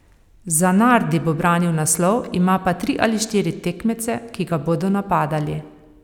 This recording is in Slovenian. Zanardi bo branil naslov, ima pa tri ali štiri tekmece, ki ga bodo napadali.